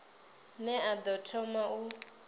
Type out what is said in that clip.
ne a ḓo thoma u